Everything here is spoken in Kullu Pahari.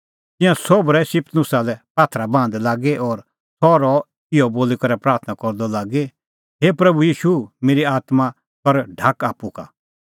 तिंयां सोभ रहै स्तिफनुसा लै पात्थरै बाहंदै लागी और सह रहअ इहअ बोली करै प्राथणां करदअ लागी हे प्रभू ईशू मेरी आत्मां कर ग्रैहण